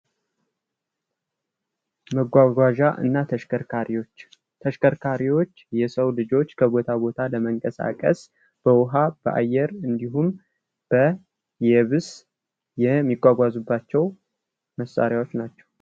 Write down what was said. መጓጓዣ እና ተሽከርካሪዎች ተሽከርካሪዎች የሰው ልጆች ከቦታ ቦታ ለመንቀሳቀስ በውሃ፣ በአየር እንዲሁም በየብስ የሚጓጓዙባቸው መሳሪያዎች ናቸው።